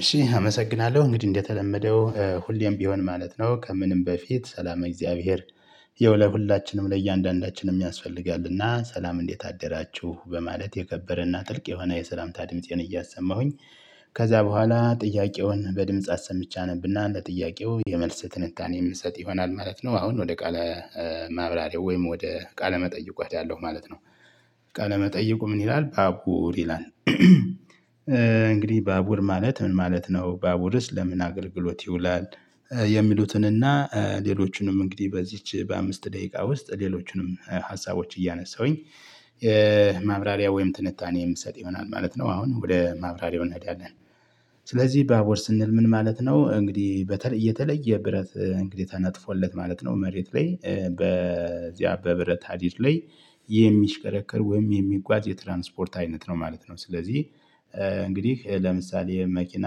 እሺ አመሰግናለሁ እንግዲህ እንደተለመደው ሁሌም ቢሆን ማለት ነው ከምንም በፊት እግዚአብሔር ያው ለሁላችንም ለእያንዳንዳችንም ያስፈልጋልና ሰላም እንዴት አደራችሁ በማለት የከበረና ጥልቅ የሆነ የሰላምታ ድምፄን እያሰማሁኝ። ከዛ በኋላ ጥያቄውን በድምጽ አሰምቼ አነብና ለጥያቄው የመልስ ትንታኔ የምትሰጥ ይሆናል ማለት ነው። አሁን ወደ ቃለ ማብራሪያው ወይም ወደ ቃለ መጠይቆት ያለው ማለት ነው። ቃለ መጠየቁ ምን ይላል ባቡር ይላል? እንግዲህ ባቡር ማለት ምን ማለት ነው? ባቡርስ ለምን አገልግሎት ይውላል? የሚሉትንና ሌሎቹንም እንግዲህ በዚች በአምስት ደቂቃ ውስጥ ሌሎቹንም ሀሳቦች እያነሳሁኝ። ማብራሪያ ወይም ትንታኔ የምትሰጥ ይሆናል ማለት ነው አሁን ወደ ማብራሪያው እንሄዳለን። ስለዚህ ባቡር ስንል ምን ማለት ነው? እንግዲህ በተለይ የተለየ ብረት እንግዲህ ተናጥፎለት ማለት ነው። መሬት ላይ በዚያ በብረት አዲስ ላይ የሚሽከረከር ወይም የሚጓዝ የትራንስፖርት አይነት ነው ማለት ነው። ስለዚህ እንግዲህ ለምሳሌ መኪና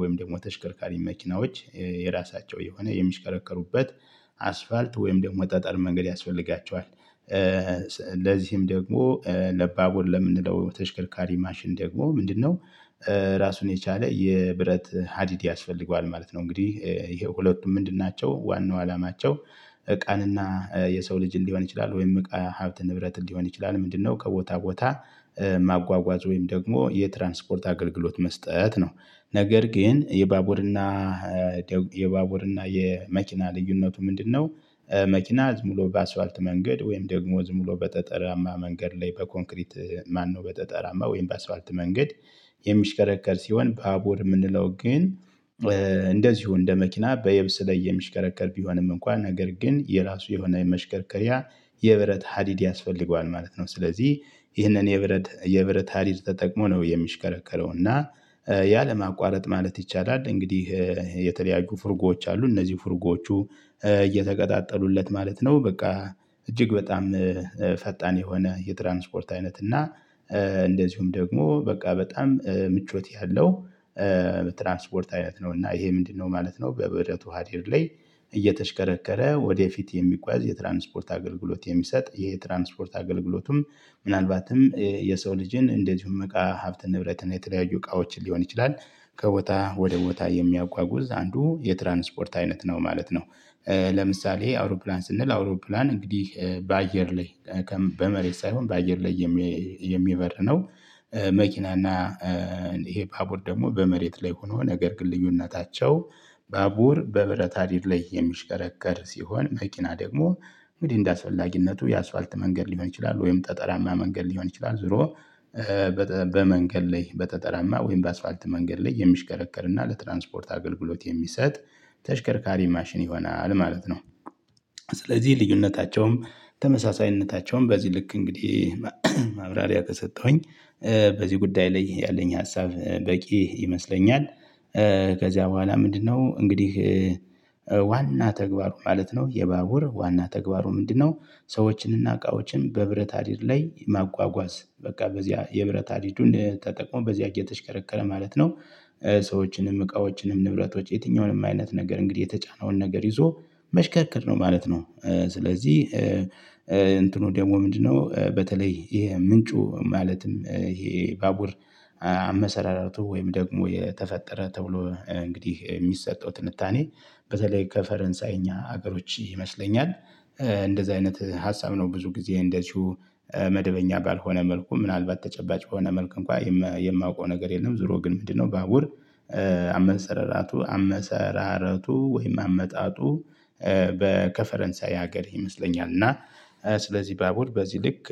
ወይም ደግሞ ተሽከርካሪ መኪናዎች የራሳቸው የሆነ የሚሽከረከሩበት አስፓልት ወይም ደግሞ ጠጠር መንገድ ያስፈልጋቸዋል። ለዚህም ደግሞ ለባቡር ለምንለው ተሽከርካሪ ማሽን ደግሞ ምንድነው? ራሱን የቻለ የብረት ሀዲድ ያስፈልገዋል ማለት ነው። እንግዲህ ይሄ ሁለቱ ምንድን ናቸው? ዋናው አላማቸው እቃንና የሰው ልጅ ሊሆን ይችላል ወይም እቃ ሀብት ንብረት ሊሆን ይችላል ምንድነው ከቦታ ቦታ ማጓጓዝ ወይም ደግሞ የትራንስፖርት አገልግሎት መስጠት ነው። ነገር ግን የባቡርና የባቡርና እና የመኪና ልዩነቱ ምንድነው? መኪና ሙሉ በአስፋልት መንገድ ወይም ደግሞ ዝም ብሎ በጠጠራማ መንገድ ላይ በኮንክሪት ማነው በጠጠራማ ወይም በአስፓልት መንገድ የሚሽከረከር ሲሆን በአቦር የምንለው ግን እንደዚሁ እንደ መኪና በየብስ ላይ የሚሽከረከር ቢሆንም እንኳን ነገር ግን የራሱ የሆነ የመሽከርከሪያ የብረት ሀዲድ ያስፈልገዋል ማለት ነው። ስለዚህ ይህንን የብረት የብረት ሀዲድ ተጠቅሞ ነው የሚሽከረከረው እና ያ ለማቋረጥ ማለት ይቻላል። እንግዲህ የተለያዩ ፍርጎዎች አሉ እነዚህ ፍርጎቹ እየተቀጣጠሉለት ማለት ነው። በቃ እጅግ በጣም ፈጣን የሆነ የትራንስፖርት አይነት እና እንደዚሁም ደግሞ በቃ በጣም ምቾት ያለው ትራንስፖርት አይነት ነው። እና ይሄ ምንድነው ማለት ነው? በብረቱ ሀዲድ ላይ እየተሽከረከረ ወደፊት የሚቆያዝ የትራንስፖርት አገልግሎት የሚሰጥ የትራንስፖርት አገልግሎቱም ምናልባትም የሰው ልጅን እንደዚሁ እምቃ ሀብት ንብረትን የተለያዩ እቃዎችን ሊሆን ይችላል ከቦታ ወደ ቦታ የሚያጓጉዝ አንዱ የትራንስፖርት አይነት ነው ማለት ነው። ለምሳሌ አውሮፕላን ስንል አውሮፕላን እንግዲህ በአየር ላይ በመሬት ሳይሆን በአየር ላይ የሚበርነው። መኪናና ይሄ ባቡር ደግሞ በመሬት ላይ ሆኖ ነገር ግን ልዩነታቸው ባቡር በብረት ሐዲድ ላይ የሚሽከረከር ሲሆን መኪና ደግሞ እንግዲህ እንደ አስፈላጊነቱ የአስፓልት መንገድ ሊሆን ይችላል ወይም ጠጠራማ መንገድ ሊሆን ይችላል ዞሮ ላይ በጠጠራማ ወይም በአስፓልት መንገድ ላይ የሚሽከረከር እና ለትራንስፖርት አገልግሎት የሚሰጥ ተሽከርካሪ ማሽን ይሆናል ማለት ነው። ስለዚህ ልዩነታቸውም ተመሳሳይነታቸውም በዚህ ልክ እንግዲህ ማብራሪያ ከሰጠሁኝ በዚህ ጉዳይ ላይ ያለኝ ሀሳብ በቂ ይመስለኛል። ከዚያ በኋላ ምንድነው እንግዲህ? ዋና ተግባሩ ማለት ነው የባቡር ዋና ተግባሩ ምንድነው? ሰዎችንና እቃዎችን በብረት ሐዲድ ላይ ማጓጓዝ በቃ በዚህ የብረት ሐዲዱ ን ተጠቅሞ በዚህ እየተሽከረከረ ማለት ነው። ሰዎችንም እቃዎችንም ንብረቶች የትኛውንም አይነት ነገር እንግዲህ የተጫነውን ነገር ይዞ መሽከርከር ነው ማለት ነው። ስለዚህ እንትኑ ደግሞ ምንድነው በተለይ ይሄ ምንጩ ማለትም ይሄ ባቡር አመሰራርቱ ወይም ደግሞ የተፈጠረ ተብሎ እንግዲህ የሚሰጠው ትንታኔ በተለይ ከፈረንሳይኛ ሀገሮች ይመስለኛል። እንደዚህ አይነት ሀሳብ ነው ብዙ ጊዜ እንደዚሁ መደበኛ ባልሆነ መልኩ ምናልባት ተጨባጭ በሆነ መልኩ እንኳን የማውቀው ነገር የለም። ዙሮ ግን ምንድነው ባቡር አመሰራረቱ። ወይም አመጣጡ በ ከፈረንሳይ ሀገር ይመስለኛል እና ስለዚህ ባቡር በዚህ ልክ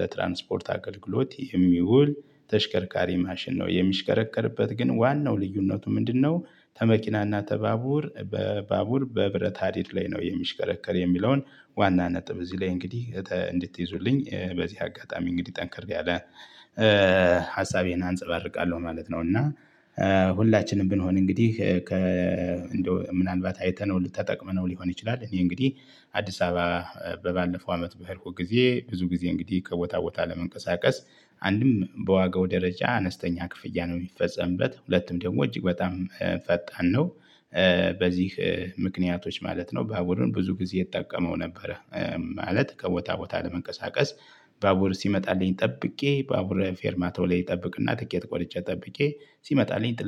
ለትራንስፖርት አገልግሎት የሚውል ተሽከርካሪ ማሽን ነው የሚሽከረከርበት ግን ዋናው ልዩነቱ ምንድነው? ከመኪናና ተባቡር በባቡር በብረት ሀዲድ ላይ ነው የሚሽከረከር የሚለውን ዋና ነጥብ እዚህ ላይ እንግዲህ እንድትይዙልኝ በዚህ አጋጣሚ እንግዲህ ጠንክር ያለ ሀሳቤን አንፀባርቃለሁ ማለት ነው። እና ሁላችንም ብንሆን እንግዲህ ከ እንደው ምናልባት አይተነው ተጠቅመነው ሊሆን ይችላል። እኔ እንግዲህ አዲስ አበባ በባለፈው አመት በሄድኩት ጊዜ ብዙ ጊዜ እንግዲህ ከቦታ ቦታ ለመንቀሳቀስ አንድም በዋጋው ደረጃ አነስተኛ ክፍያ ነው የሚፈጸምበት ሁለቱም ደግሞ እጅግ በጣም ፈጣን ነው። በዚህ ምክንያቶች ማለት ነው። በአሁኑ ብዙ ጊዜ እጠቀሙ ነበረ። ማለት ከቦታ ቦታ ለመንቀሳቀስ ባቡር ሲመጣልኝ ጠብቄ ባቡረ ፌርማ ተውሌ ይጠብቅና ትኬት ቆርጬ ጠብቄ ሲመጣልኝ